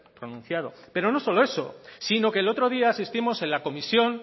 pronunciado hechos pero no solo eso sino que el otro día asistimos en la comisión